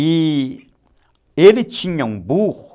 E ele tinha um burro